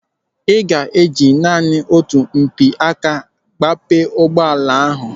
A ga-eji naanị otu mpịaka gbape ụgbọala ahụ.